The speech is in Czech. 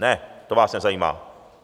Ne, to vás nezajímá.